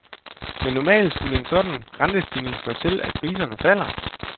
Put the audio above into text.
Men normalt skulle en sådan rentestigning føre til, at priserne falder.